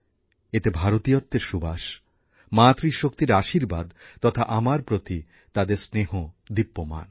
এতে ভারতীয়ত্বের সুবাস মাতৃ শক্তির আশির্বাদ তথা আমার প্রতি তাদের স্নেহ দীপ্যমান